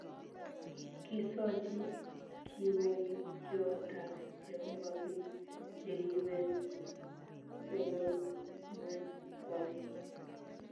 Kisochi kiboityotab jehovah biik chekibet sobonwekkwai